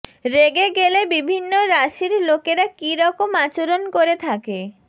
রেগে গেলে বিভিন্ন রাশির লোকেরা কী রকম আচরণ করে থাকে